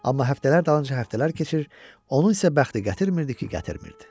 Amma həftələr dalınca həftələr keçir, onun isə bəxti gətirmirdi ki, gətirmirdi.